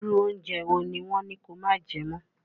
Irú oúnjẹ wo ni wọn ní kó máa jẹ mọ́?